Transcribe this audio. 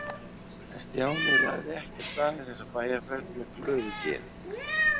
En Stjáni lagði ekki af stað í þessa bæjarferð með glöðu geði.